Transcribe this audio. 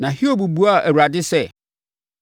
Na Hiob buaa Awurade sɛ,